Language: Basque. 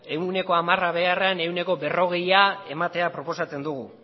ehuneko hamara beharrean ehuneko berrogeia ematea proposatzen dugu